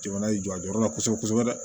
Jamana y'i jɔ a jɔyɔrɔ la kosɛbɛ kosɛbɛ